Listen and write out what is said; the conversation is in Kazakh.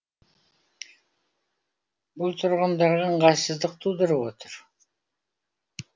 бұл тұрғындарға ыңғайсыздық тудырып отыр